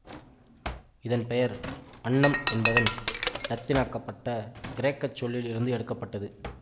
இதன் பெயர் அன்னம் என்பதன் இலத்தீனாக்கப்பட்ட கிரேக்க சொல்லில் இருந்து எடுக்க பட்டது